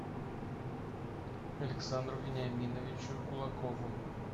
александру вениаминовичу кулакову